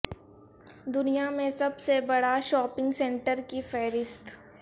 دنیا میں سب سے بڑا شاپنگ سینٹرز کی فہرست